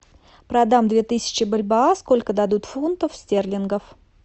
продам две тысячи бальбоа сколько дадут фунтов стерлингов